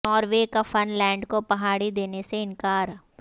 Norway کا Finland کو پہاڑی دینے سے انکار